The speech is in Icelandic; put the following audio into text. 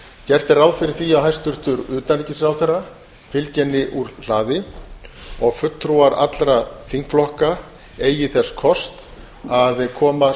gert er ráð fyrir því að hæstvirtur utanríkisráðherra fylgi henni úr hlaði og fulltrúar allra þingflokka eigi þess kost að koma